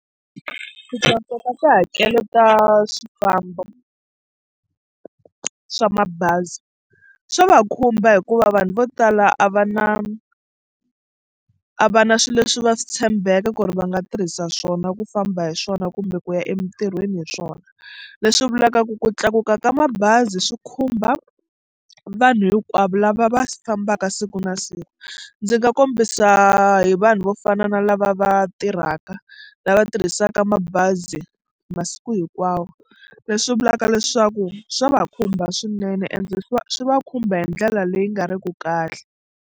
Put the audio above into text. Ku tlakuka ka tihakelo ta swifambo swa mabazi swa va khumba hikuva vanhu vo tala a va na a va na swilo leswi va swi tshembeke ku ri va nga tirhisa swona ku famba hi swona kumbe ku ya emitirhweni hi swona leswi vulaka ku ku tlakuka ka mabazi swi khumba vanhu hinkwavo lava va fambaka siku na siku. Ndzi nga kombisa hi vanhu vo fana na lava va tirhaka mhaka lava tirhisaka mabazi masiku hinkwawo leswi vulaka leswaku swa va khumba swinene ende swi va swi va khumba hi ndlela leyi nga riki kahle.